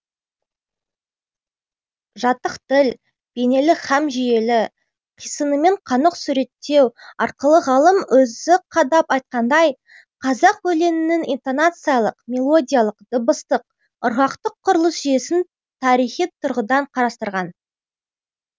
жатық тіл бейнелі һәм жүйелі қисынымен қанық суреттеу арқылы ғалым өзі қадап айтқандай қазақ өлеңінің интонациялық мелодиялық дыбыстық ырғақтық құрылыс жүйесін тарихи тұрғыдан қарастырған